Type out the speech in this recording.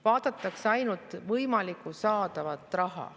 Vaadatakse ainult võimalikku saadavat raha.